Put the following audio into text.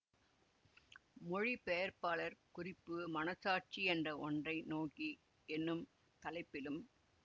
மொழிபெயர்ப்பாளர் குறிப்பு மனசாட்சி என்ற ஒன்றை நோக்கி என்னும் தலைப்பிலும்